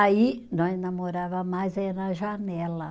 Aí, nós namorava mais era janela.